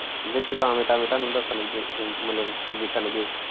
ਵਿੱਚ ਟਾਂਵੇ ਟਾਂਵੇ ਤੁਹਾਨੂੰ ਦੱਸਣ ਗੇ ਮਤਲਬ ਦਿੱਸਣ ਗੇ।